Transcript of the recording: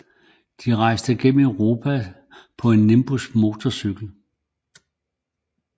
De rejste gennem Europa på en Nimbus motorcykel